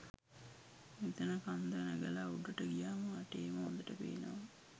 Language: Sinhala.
මෙතන කන්ද නැගල උඩට ගියාම වටේම හොඳට පේනවා.